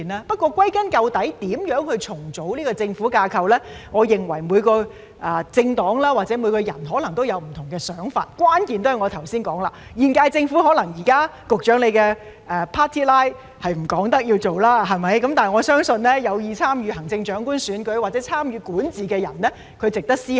不過，歸根究底，對於如何重組政府架構，我認為每個政黨或每個人可能有不同的想法，關鍵也是如我剛才所說，現屆政府可能現時......局長的 party line 不容許他說要做，但我相信這是有意參與行政長官選舉或參與管治的人值得思考的。